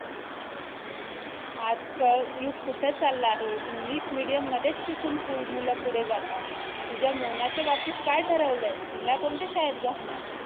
आज कल युग कुठं चालला आहे English Medium मध्येच शिकून full मुलं पुढे जातात तुझ्या मोनाच्या बाबतीत काय ठरवलंय तिला कोणत्या शाळेत घालणार